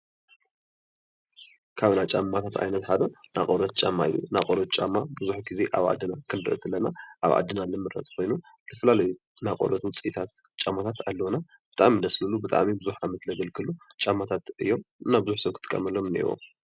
ካብ ናይ ጫማታት ዓይነት ሓደ ናይ ቆርበት ጫማ እዩ፡፡ ናይ ቆርበት ጫማ ቡዙሕ ኣብ ዓድና ክንሪኦ ከለና ኣብ ዓድና ዝምረት ኮይኑ ዝተፈላለዩ ናይ ቆርበት ውፅኢታት ጫማታት ኣለዉና፡፡ ብጣዕሚ ደስ ዝብሉ ብጣዕሚ ቡዙሕ ዓመት ዘገልግሉ ጫማታት እዮም፡፡ እና ቡዙሕ ሰብ ክጥቀመሎም እንኤዎ፡፡